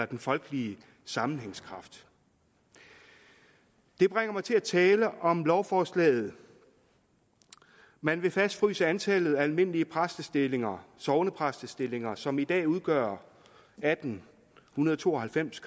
den folkelige sammenhængskraft det bringer mig til at tale om lovforslaget man vil fastfryse antallet af almindelige præstestillinger sognepræstestillinger som i dag udgør atten to og halvfems